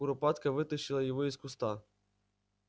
куропатка вытащила его из куста